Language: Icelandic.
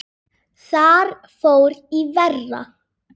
Þar fór í verra.